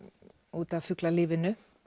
út af fuglalífinu